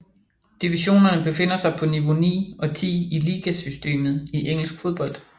Divisionerne befinder sig på niveau 9 og 10 i ligasystemet i engelsk fodbold